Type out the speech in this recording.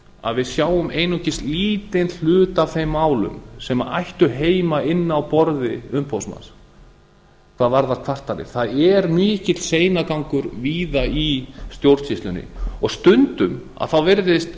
að við sjáum einungis lítinn hluta af þeim málum sem ættu heima inni á borði umboðsmanns hvað varðar kvartanir það er mikill seinagangur víða í stjórnsýslunni stundum virðist